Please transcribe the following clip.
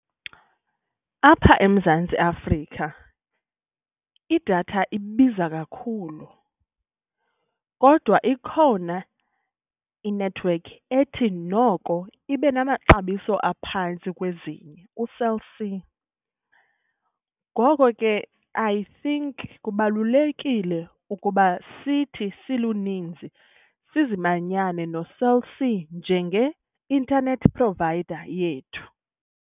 Apha eMzantsi Afrika idatha ibiza kakhulu kodwa ikhona inethiwekhi ethi noko ibe namaxabiso aphantsi kwezinye uCell C. Ngoko ke I think kubalulekile ukuba sithi siluninzi sizimanyane noCell C njenge-internet provider yethu.